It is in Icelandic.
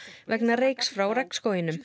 vegna reyks frá